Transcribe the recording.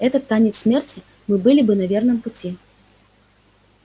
этот танец смерти мы были бы на верном пути